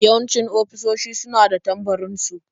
Yawanci ofisoshi su na da tambarin su.